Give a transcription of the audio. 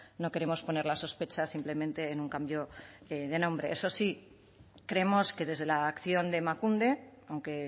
no queremos poner las sospechas simplemente en un cambio de nombre eso sí creemos que desde la acción de emakunde aunque